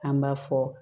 An b'a fɔ